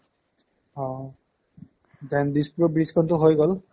অহ্, then দিছপুৰৰ bridge খনটো হৈ গ'ল